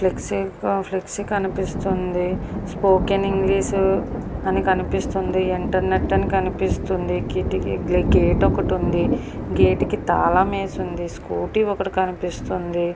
Flexi ఇంకొక flexi కనిపిస్తుంది spoken English అని కనిపిస్తుంది ఇంటర్నెట్ అని కనిపిస్తుంది కిటికీ గేట్ ఒకటి ఉంది గేటు కి తాళం వేసి ఉంది స్కూటీ ఒకటి కనిపిస్తుంది.